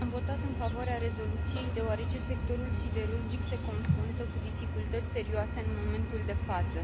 Am votat în favoarea rezoluției, deoarece sectorul siderurgic se confruntă cu dificultăți serioase în momentul de față.